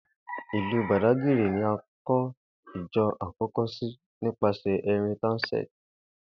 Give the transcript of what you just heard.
Ìlú Bàdágìrì ni a kó̩ ìjo̩ àkó̩ko̩ sí nípasè̩ Henry Townsend